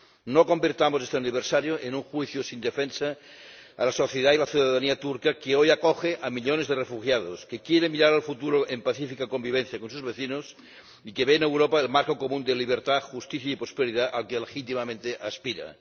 No convirtamos este aniversario en un juicio sin defensa a la sociedad y la ciudanía turca que hoy acoge a millones de refugiados, que quiere mirar al futuro en pacífica convivencia con sus vecinos y que ve en Europa el marco común de libertad, justicia y prosperidad al que legítimamente aspira.